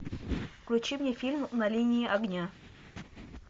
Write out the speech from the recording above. включи мне фильм на линии огня